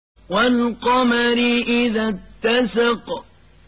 وَالْقَمَرِ إِذَا اتَّسَقَ